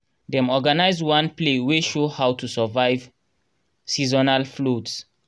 dem organise one play wey show how to survive seasonal floods